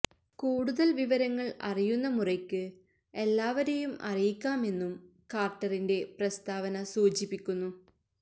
കൂടുതല് വിവരങ്ങള് അറിയുന്ന മുറയ്ക്ക് എല്ലാവരെയും അറിയിക്കാമെന്നും കാര്ട്ടറിന്റെ പ്രസ്താവന സൂചിപ്പിക്കുന്നു